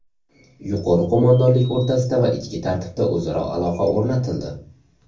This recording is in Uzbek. Yuqori qo‘mondonlik o‘rtasida va ichki tartibda o‘zaro aloqa o‘rnatildi.